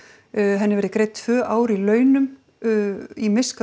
henni verði greidd tvö ár í launum í miska og